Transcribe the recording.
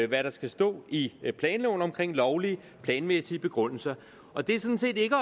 hvad der skal stå i planloven om lovlige planmæssige begrundelser og det er sådan set ikke